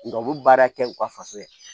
Nga u bi baara kɛ u ka faso ye